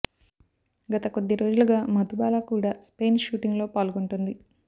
గత కొద్ది రోజులుగా మధుబాల కూడా స్పెయిన్ షూటింగ్ లో పాల్గొంటోంది